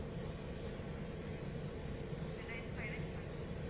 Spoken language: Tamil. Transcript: இரண்டாயிரத்தி பதினைந்து ma'am